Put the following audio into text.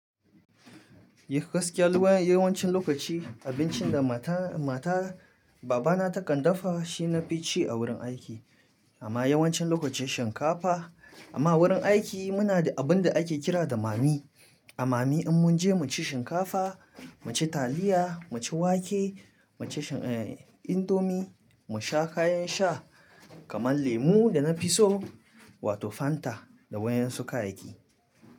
Yi gaskiya, yawancin lokaci abincin da mata, mata babana ta kan dafa shi nafi ci a wurin aiki. Amma yawancin lokaci shinkafa. Amma wurin aiki muna da abun da ake kira da mami. A mami in mun je mu ci shinkafa, mu ci taliya, mu ci wake, mu ci indomie, mu sha kayan sha kamar lemu da na fi so wato Fanta da waen su kayaki.